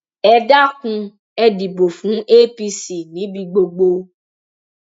ẹ dákun ẹ dìbò fún apc níbi gbogbo